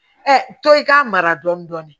tɔ i k'a mara dɔɔnin dɔɔnin